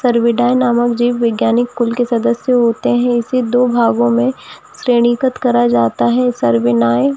सर्वोदय नामक जीव विज्ञानिक स्कूल के सदस्य होते हैं इसे दो भागों में श्रेणीगत करा जाता है सर्वे नायक --